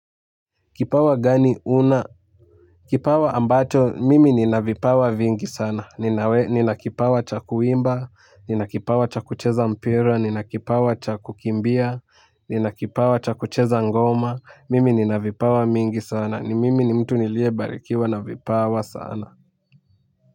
Kipawa gani una? Kipawa ambacho, mimi nina vipawa vingi sana. Nina kipawa cha kuimba, nina kipawa cha kucheza mpira, nina kipawa cha kukimbia, nina kipawa cha kucheza ngoma. Mimi nina vipawa mingi sana. Ni mimi ni mtu nilie barikiwa na vipawa sana.